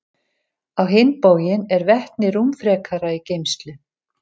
Á hinn bóginn er vetni rúmfrekara í geymslu.